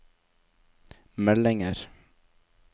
meldinger